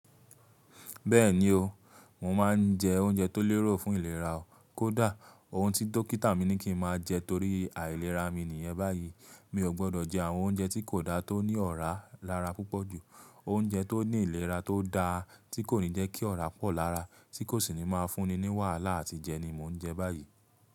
Bẹ́ẹ̀ni o, mò má n jẹ oúnjẹ tó lérò fún ìlera o. Kódà ohun tí dókítà mi ní kí n máa jẹ torí àìlera mi nìyẹn báyìí. Mi ò gbọdọ̀ jẹ àwọn oúnjẹ tí kò da tó ní ọ̀rá lára púpọ̀ jù, oúnjẹ tó ní ìlera tó da tí kò ní jẹ́ kí ọ̀rá pọ̀ lára tí kò sì ní máa fún ni ní wàhálà àti jẹ ni mò ń jẹ báyìí.